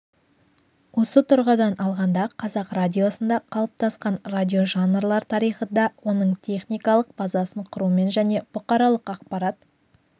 осы тұрғыдан алғанда қазақ радиосында қалыптасқан радиожанрлар тарихы да оның техникалық базасын құрумен және бұқаралық ақпарат